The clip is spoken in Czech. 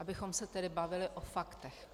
Abychom se tedy bavili o faktech.